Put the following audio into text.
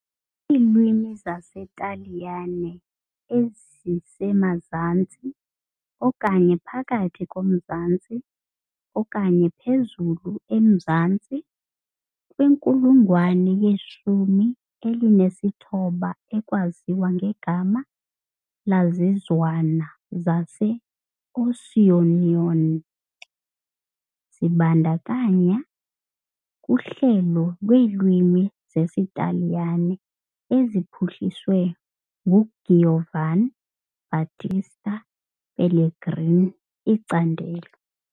Iilwimi zesiTaliyane ezisemazantsi, okanye phakathi komzantsi, okanye phezulu-emazantsi, kwinkulungwane yeshumi elinesithoba ekwaziwa ngegama lezizwana zaseAusonian, zibandakanya, kuhlelo lweelwimi zesiTaliyane eziphuhliswe nguGiovan Battista Pellegrini, icandelo.